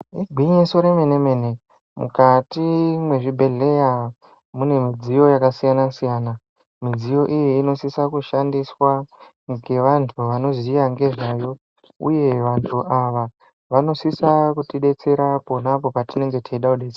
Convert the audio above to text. Igwinyiso remene-mene mukati mwezvibhehleya mune midziyo yakasiyana-siyana. Midziyo iyi inosisa kushandiswa ngevantu vanoziya nezvayo uye vantu ava vanosisa kutidetsera pona apo patinenge teida detse...